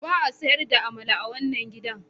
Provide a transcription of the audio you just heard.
Ba a sayar da amala a wannan gidan.